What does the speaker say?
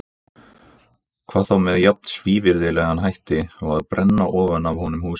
Hvað þá með jafn svívirðilegum hætti og að brenna ofan af honum húsið.